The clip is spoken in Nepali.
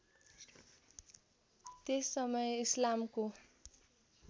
त्यस समय इस्लामको